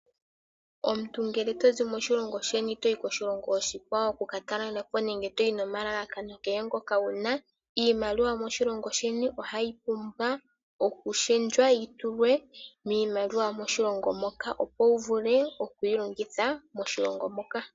Omuntu ngele tozi moshilongo sheni toyi koshilongo oshikwawo oku katalelapo nenge toyi nomalalakano kehe ngoka wuna, iimaliwa yomoshilongo sheni ohayi pumbwa okupingakanithwa yitulwe miimaliwa yomoshilongo moka opo wuvule okwilongitha moshilongo moka.